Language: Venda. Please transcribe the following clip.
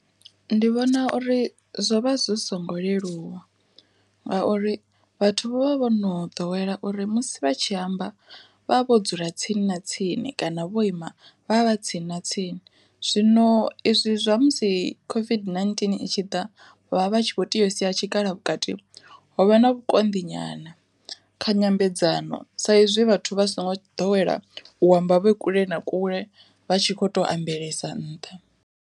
Ndi vhona uri zwo vha zwi songo leluwa, ngauri vhathu vho vha vho no ḓowela uri musi vha tshi amba vha vho dzula tsini na tsini kana vho ima vha vha tsini na tsini zwino izwi zwa musi COVID-19 i tshi ḓa vha vha tshi kho tea u sia tshikalo vhukati, ho vha na vhukonḓi nyana, kha nyambedzano sa izwi vhathu vha songo ḓowela u amba vhe kule na kule vha tshi kho to ambelesa nṱha.